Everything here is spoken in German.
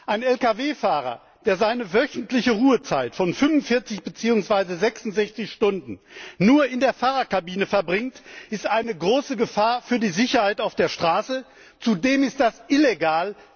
Ein Lkw Fahrer, der seine wöchentliche Ruhezeit von 45 beziehungsweise 66 Stunden nur in der Fahrerkabine verbringt, ist eine große Gefahr für die Sicherheit auf der Straße. Zudem ist das illegal.